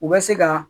U bɛ se ka